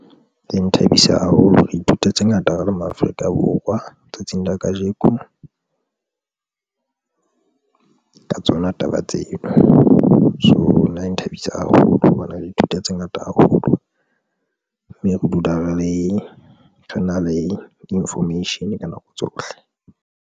E nthabisa haholo, re ithuta tse ngata ka le Maafrika Borwa tsatsing la kajeko ka tsona taba tseo, so nna e nthabisa haholo hobane re ithuta tse ngata haholo mme re dula re le re nale information ka nako tsohle.